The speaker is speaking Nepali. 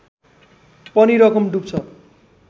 पनि रकम डुब्छ